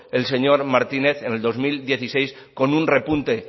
el señor martínez en el dos mil dieciséis con un repunte